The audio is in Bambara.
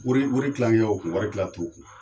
Wari tilancɛ ye u kun wari tila t'o kun